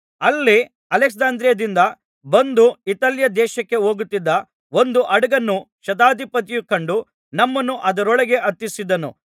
ಅಲ್ಲಿ ಅಲೆಕ್ಸಾಂದ್ರಿಯದಿಂದ ಬಂದು ಇತಾಲ್ಯದೇಶಕ್ಕೆ ಹೋಗುತ್ತಿದ್ದ ಒಂದು ಹಡಗನ್ನು ಶತಾಧಿಪತಿಯು ಕಂಡು ನಮ್ಮನ್ನು ಅದರೊಳಗೆ ಹತ್ತಿಸಿದನು